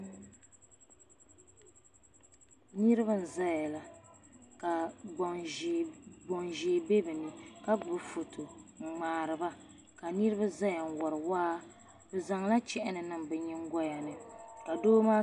Niriba n zaya la ka gbaŋ ʒee be bɛ ni ka gbubi foto n ŋmari ba ka niriba zaya n wari waa bɛ zaŋla chɛni niŋ bɛ nyingoya ni.